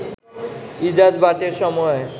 ইজাজ বাটের সময়ে